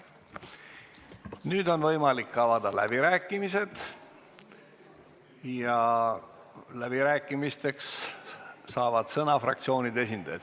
Nüüd on võimalik avada läbirääkimised ja läbirääkimisteks saavad sõna fraktsioonide esindajad.